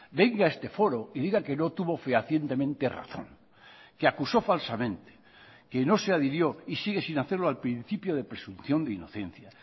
venga a este foro y diga que no tuvo fehacientemente razón que acusó falsamente que no se adhirió y sigue sin hacerlo al principio de presunción de inocencia